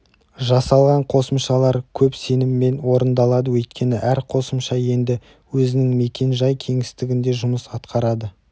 жасалған қосымшалар көп сеніммен орындалады өйткені әр қосымша енді өзінің мекен-жай кеңістігінде жұмыс атқарады